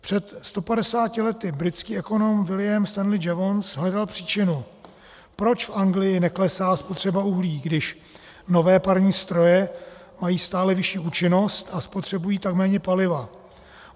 Před 150 lety britský ekonom William Stanley Jevons hledal příčinu, proč v Anglii neklesá spotřeba uhlí, když nové parní stroje mají stále vyšší účinnost a spotřebují tak méně paliva.